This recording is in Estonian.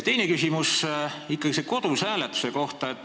Teine küsimus on ikkagi selle kodus hääletamise kohta.